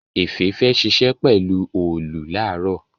Efe fè ṣiṣẹ pelu Òòlù laaro.